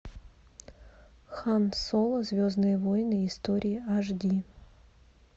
хан соло звездные войны истории аш ди